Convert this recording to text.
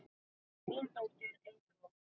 Þín dóttir, Eygló.